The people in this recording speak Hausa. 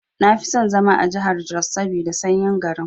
Nafi son zama a jahar jos saboda sanyi garin.